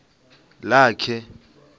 lakhe